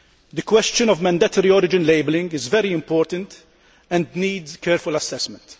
The question of mandatory origin labelling is very important and needs careful assessment.